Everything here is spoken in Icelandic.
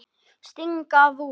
Sting gaf út.